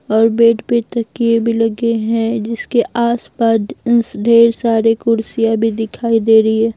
और बेड पे तकिए भी लगे हैं जिसके आसपास ढेर सारे कुर्सियां भी दिखाई दे रही है।